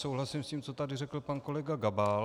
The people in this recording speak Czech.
Souhlasím s tím, co tady řekl pan kolega Gabal.